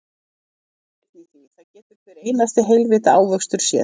Það er engin sanngirni í því, það getur hver einasti heilvita ávöxtur séð.